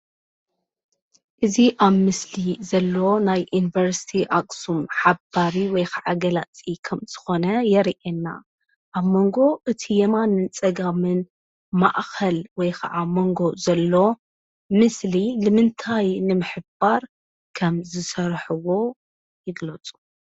እዚ ኣብ ምስሊ ዘሎ ናይዩኒቨርሲቲ ኣክሱም ሓባሪ ወይ ከዓ ገላፂ ኸምዝኾነ የርየና፡፡ ኣብ መንጎ እቲ የማንን ጸጋምን ማእኸል ወይ ኸዓ መንጎ ዘሎ ምስሊ ልምንታይ ንምሕባር ከም ዝሠርሕዎ ይግለፁ?